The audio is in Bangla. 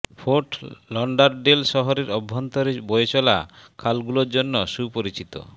ফোর্ট লডারডেল শহরের অভ্যন্তরে বয়ে চলা খালগুলোর জন্য সুপরিচিত